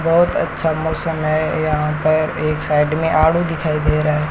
बहुत अच्छा मौसम है यहां पर एक साइड में आड़ू दिखाई दे रहा है।